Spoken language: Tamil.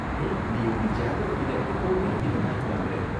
ஹேய், நீ எப்படி ஜியாகிரஃபில எப்போவுமே அதிக மார்க் வாங்கற?